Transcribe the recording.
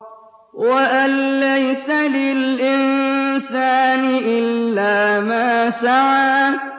وَأَن لَّيْسَ لِلْإِنسَانِ إِلَّا مَا سَعَىٰ